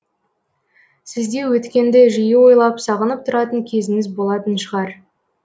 сізде өткенді жиі ойлап сағынып тұратын кезіңіз болатын шығар